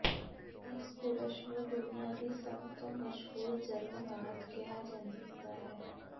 ਇਸ ਪੁਰਸ਼ ਨੂੰ ਦੁਨੀਆਂ ਦੀ ਸਭ ਤੋਂ ਮਸ਼ਹੂਰ ਜਰਮਨ ਔਰਤ ਕਿਹਾ ਜਾਂਦਾ ਹੈ